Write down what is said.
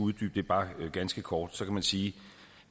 uddybe det bare ganske kort vil jeg sige